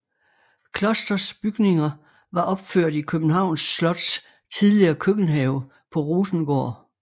Klosters bygninger var opført i Københavns Slots tidligere køkkenhave på Rosengård